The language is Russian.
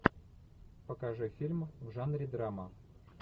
покажи фильм в жанре драма